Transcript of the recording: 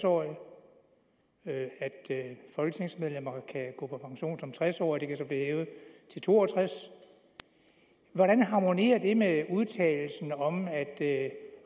årig og at folketingsmedlemmer kan gå på pension som tres årige det kan så blive hævet til to og tres år hvordan harmonerer det med udtalelsen om at